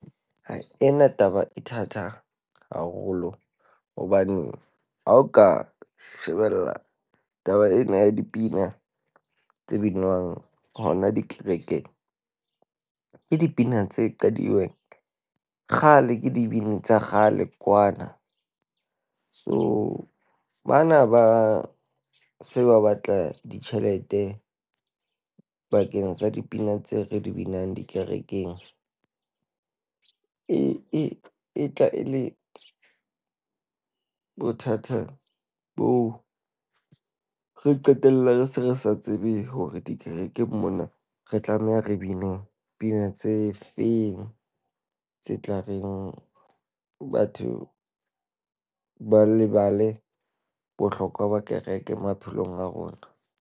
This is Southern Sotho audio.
Hai, ena taba e thata haholo. Hobane ha o ka shebella taba ena ya dipina tse binwang hona dikerekeng, ke dipina tse qadilweng kgale ke dibini tsa kgale, kwana. So bana ba se ba batla ditjhelete bakeng sa dipina tseo re di binang dikerekeng. E ee e tla e le bothata boo. Re qetella re se re sa tsebe hore dikerekeng mona re tla be ne re bine pina tse feng tse tla reng batho ba lebale bohlokwa ba kereke maphelong a rona.